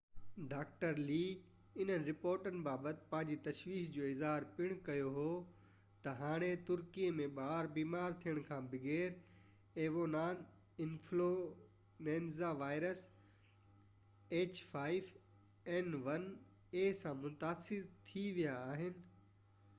doctor لي انهن رپورٽن بابت پنهنجي تشويش جو اظهار پڻ ڪيو ته هاڻي ترڪي ۾ ٻار بيمار ٿيڻ کان بغير ah5n1 ايويان انفلوئينزا وائرس سان متاثر ٿي ويا آهن